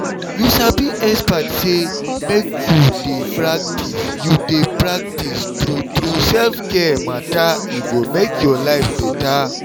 you sabi expert say make you dey practice you dey practice true true self-care matter e go make your life better.